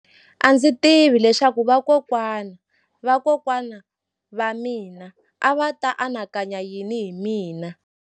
A ndzi tivi leswaku vakokwana-va-vakokwana va mina a va ta anakanya yini hi mina.